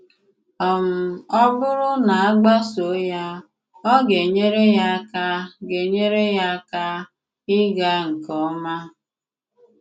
um Ọ̀ bùrù na a gbàsòò ya, ọ ga-enyère ya àka ga-enyère ya àka ịgà nke òma.